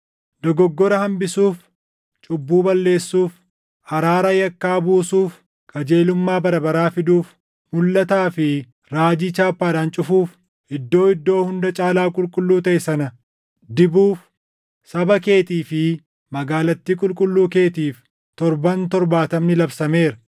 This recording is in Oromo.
“Dogoggora hambisuuf, cubbuu balleessuuf, araara yakkaa buusuuf, qajeelummaa bara baraa fiduuf, mulʼataa fi raajii chaappaadhaan cufuuf, Iddoo Iddoo Hunda Caalaa Qulqulluu taʼe sana dibuuf saba keetii fi magaalattii qulqulluu keetiif ‘torban’ torbaatamni labsameera.